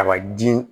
A ma ji